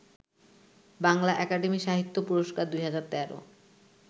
Bangla academy সাহিত্য পুরস্কার ২০১৩